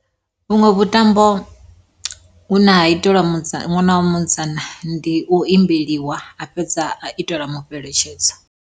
Vhuṅwe vhuṱambo hune ha iteliwa ṅwana wa musidzana ndi u imbeliwa a fhedza a iteliwa mufheletshedzo.